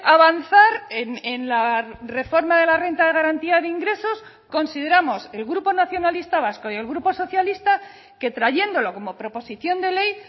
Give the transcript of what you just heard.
avanzar en la reforma de la renta de garantía de ingresos consideramos el grupo nacionalista vasco y el grupo socialista que trayéndolo como proposición de ley